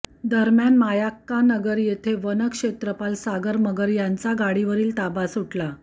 दरम्यान मायाक्कानगर येथे वनक्षेत्रपाल सागर मगर यांचा गाडीवरील ताबा सुटला